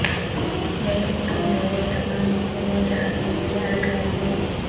لیکن تم میرے تمام اصولوں جہنم میں اڑ گئے ہیں